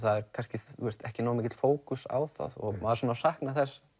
kannski ekki nógu mikill fókus á það og maður saknar þess